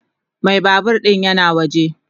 Mai babur din yana waje.